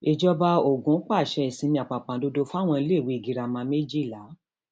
ìjọba ogun pàṣẹ ìsinmi àpàpàǹdodo fáwọn iléèwé girama méjìlá